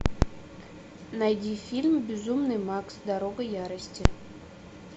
найди фильм безумный макс дорога ярости